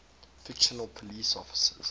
fictional police officers